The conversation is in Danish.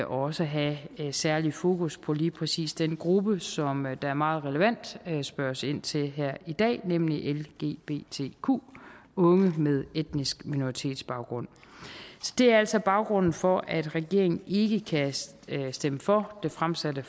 også have særlig fokus på lige præcis den gruppe som der meget relevant spørges ind til her i dag nemlig lgbtq unge med etnisk minoritetsbaggrund så det er altså baggrunden for at regeringen ikke kan stemme for det fremsatte